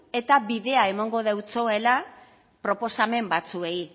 eta bidea emongo deutsoela proposamen batzuei